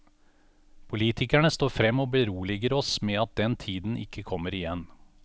Politikerne står frem og beroliger oss med at den tiden ikke kommer igjen.